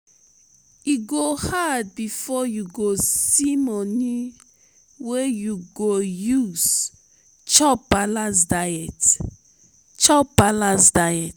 e go hard before you go see moni wey you go use chop balanced diet. chop balanced diet.